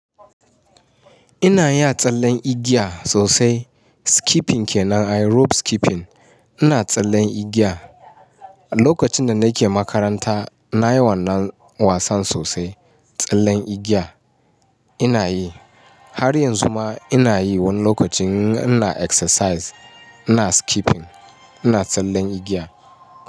Ina iya tsallen igiya sosai. Skipping kenan, rope skipping. Ina tsallen igiya. A lokacin da nake makaranta nayi wannan wasan sosai. Tsallen igiya ina yi. Har yanzu ma ina yi wani lokacin ina exercise, ina skipping, ina tsallen igiya.